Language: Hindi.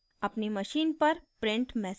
अपनी machine पर printed message को देखें